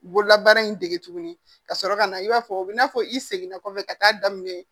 Bololabaara in dege tuguni ka sɔrɔ ka na i b'a fɔ o bɛ na fɔ i seginna kɔfɛ ka taa daminɛ